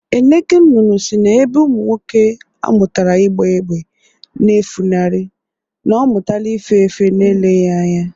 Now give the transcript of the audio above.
Eneke nnụnụ sị na ebe ụmụ nwoke amụtara ịgba égbè na-efunarị, na ọ mụtala ife efe n’eleghị anya